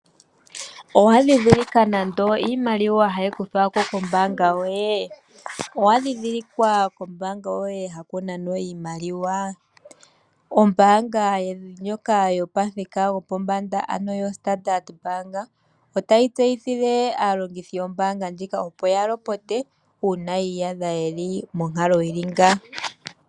Owa ndhidhilika iimaliwa hayi kuthwa ko nenge ha kunanwa iimaliwa kombaanga yoye. Ombaanga ndjoka yopathika gopombanda (standard bank) otayi tseyithile aalongithi yawo, opo yalopote uuna yiiyadha yeli monkalo yili nga.